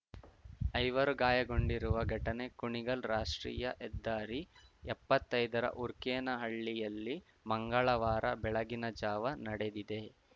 ಐವರು ಗಾಯಗೊಂಡಿರುವ ಘಟನೆ ಕುಣಿಗಲ್‌ ರಾಷ್ಟ್ರೀಯ ಹೆದ್ದಾರಿ ಎಪ್ಪತ್ತೈದರ ಊರ್ಕೇನಹಳ್ಳಿಯಲ್ಲಿ ಮಂಗಳವಾರ ಬೆಳಗಿನ ಜಾವ ನಡೆದಿದೆ